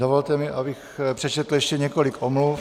Dovolte mi, abych přečetl ještě několik omluv.